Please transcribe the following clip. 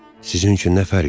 Sizinçün nə fərqi var?